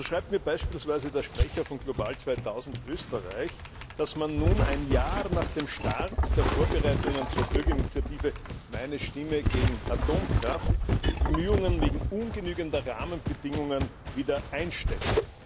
So schreibt mir beispielsweise der Sprecher von GLOBAL 2000 Österreich, dass man nun ein Jahr nach dem Start der Vorbereitungen der Bürgerinitiative Meine Stimme gegen Atomkraft die Bemühungen wegen ungenügender Rahmenbedingungen wieder einstellt.